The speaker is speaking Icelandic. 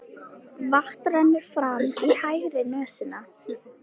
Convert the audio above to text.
Vatn rennur fram í hægri nösina.